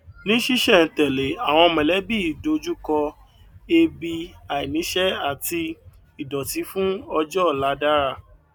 ní sísèńtẹlé àwọn mọlẹbí yìí dojú kọ ebi àìníṣẹ àti ìdòtí fún ọjọ ọla dára